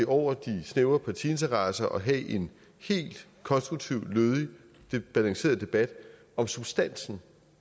over de snævre partiinteresser og have en helt konstruktiv lødig balanceret debat om substansen